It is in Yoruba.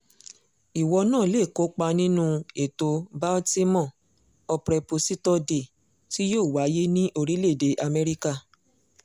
ìwọ náà lè kópa nínú ètò baltimore appreposito day tí yóò wáyé ní orílẹ̀‐èdè amẹ́ríkà